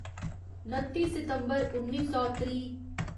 नत्ती सितम्बर उन्नी सौ त्रीह्